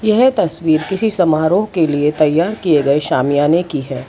यह तस्वीर किसी समारोह के लिए तैयार किए गए सामियाने की है।